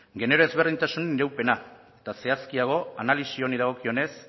genero ezberdintasun iraupena eta zehazkiago analisi honi dagokionez